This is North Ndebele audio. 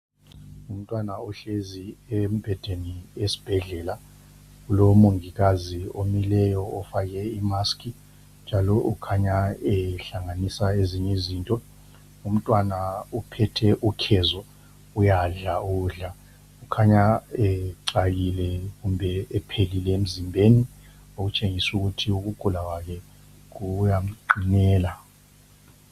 Umntwana uhlezi embhedeni esibhedlela lomongikazi omileyo ofake imaskhi njalo okhanya ehlanganisa ezinye izinto. Umntwana uphethe ukhezo uyadla ukudla, khanya ecakile kumbe ephelile emzimbeni okutshengisa ukuthi ukugula kwakhe kuyamqinela.